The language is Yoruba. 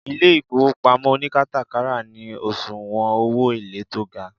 ile ifowopamo onikatakara ni osuwon owo ele to ga